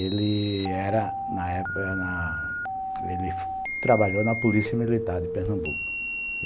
Ele era, na época, ele trabalhou na Polícia Militar de Pernambuco.